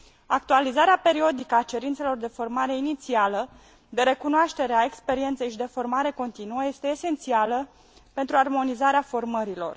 Actualizarea periodică a cerințelor de formare inițială, de recunoaștere a experienței și de formare continuă este esențială pentru armonizarea formărilor.